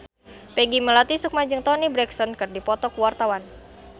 Peggy Melati Sukma jeung Toni Brexton keur dipoto ku wartawan